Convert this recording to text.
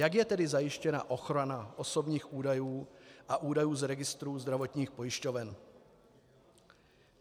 Jak je tedy zajištěna ochrana osobních údajů a údajů z registrů zdravotních pojišťoven?